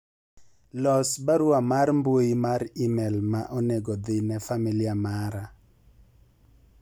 los barua mar mbui mar email ma onego dhi ne familia mara